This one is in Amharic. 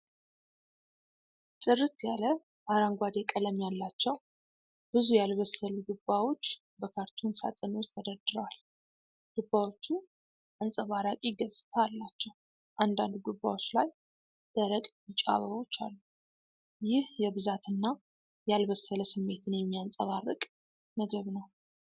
ጥርት ያለ አረንጓዴ ቀለም ያላቸው ብዙ ያልበሰሉ ዱባዎች በካርቶን ሳጥን ውስጥ ተደርድረዋል። ዱባዎቹ አንጸባራቂ ገጽታ አላቸው፣ አንዳንድ ዱባዎች ላይ ደረቅ ቢጫ አበቦች አሉ። ይህ የብዛትና ያልበሰለ ስሜትን የሚያንጸባርቅ ምግብ ነው።